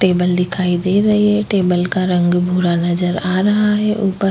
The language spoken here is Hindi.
टेबल दिखाई दे रही है टेबल का रंग भूरा नजर आ रहा है ऊपर --